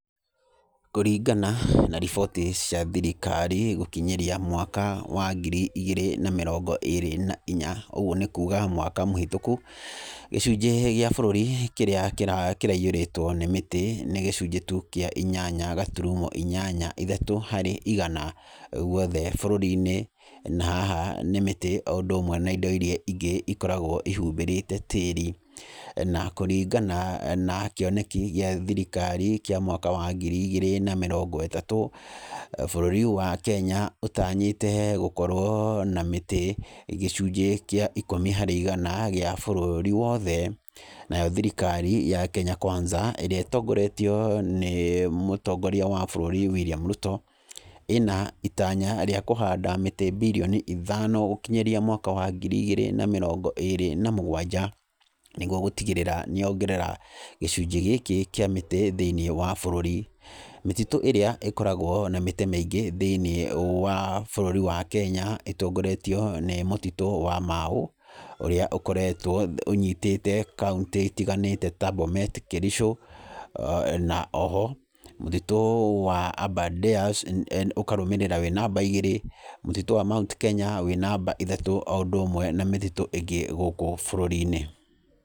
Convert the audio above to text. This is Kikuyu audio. Kũringana na riboti cia thirikari gũkinyĩrĩa mwaka wa ngiri igĩrĩ na mĩrongo ĩĩrĩ na inya, ũguo nĩ kuga mwaka mũhĩtũku. Gĩcunjĩ gĩa bũrũri kĩrĩa kĩraiyĩrĩtwo nĩ mĩtĩ nĩ gĩcunjĩ tu kĩa inyanya gaturumo inyanya ithatũ harĩ igana gwothe bũrũri-inĩ. Na haha nĩ mĩtĩ o ũndũ ũmwe na indo irĩa ingĩ ĩkoragwo ihumbĩrĩte tĩĩri. Na kũringana na kĩoneki gĩa thirikari kĩa mwaka wa ngiri igĩrĩ na mĩrongo ĩtatũ, bũrũri wa Kenya ũtanyĩte gũkorwo na mĩtĩ gĩcunjĩ kĩa ikũmi harĩ igana gĩa bũrũri wothe. Nayo thirikari ya Kenya Kwanza ĩrĩa ĩtongoretio nĩ mũnene wa bũrũri William Ruto ĩna itanya rĩa kũhanda mĩtĩ birioni ithano gũkinyĩria mwaka wa ngiri igĩrĩ na mĩrongo ĩĩrĩ na mũgwanja. Nĩguo gũtigĩrĩra nĩ ongerera gĩcujĩ gĩkĩ thĩinĩ wa bũrũri. Mĩtitũ ĩrĩa ĩkoragwo na mĩtĩ mĩingĩ thĩinĩ wa bũrũri wa Kenya ĩtongoretio nĩ mũtitũ wa Mau ũrĩa ũkoretwo ũnyitĩte kaũntĩ itiganĩte ta Bomet, Kericho. Na oho mũtitũ wa Aberdares ũkarũmĩrĩra wĩ namba igĩrĩ, mũtitũ wa Mount Kenya wĩ namba ithatũ o hamwe na mĩtitũ ingĩ gũkũ bũrũri-inĩ.